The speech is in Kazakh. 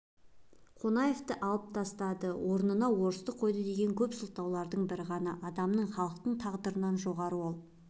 қонаевты алып тастады орнына орыс қойды деген көп сылтаудың бір ғана адамның халықтың тағдырынан жоғары ол